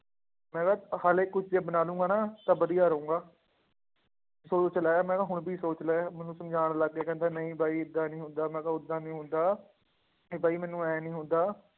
ਮੈਂ ਕਿਹਾ ਹਾਲੇ ਕੁਛ ਜੇ ਬਣਾ ਲਊਂਗਾ ਨਾ ਤਾਂ ਵਧੀਆ ਰਹਾਂਗਾ ਸੋਚ ਲੈ ਮੈਂ ਕਿਹਾ ਹੁਣ ਵੀ ਸੋਚ ਲੈ, ਮੈਨੂੰ ਸਮਝਾਉਣ ਲੱਗ ਗਿਆ ਕਹਿੰਦਾ ਨਹੀਂ ਬਾਈ ਏਦਾਂ ਨੀ ਹੁੰਦਾ, ਮੈਂ ਕਿਹਾ ਓਦਾਂ ਨੀ ਹੁੰਦਾ, ਇਹ ਬਾਈ ਮੈਨੂੰ ਇਉਂ ਨੀ ਹੁੰਦਾ